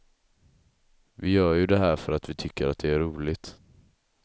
Vi gör ju det här för att vi tycker att det är roligt.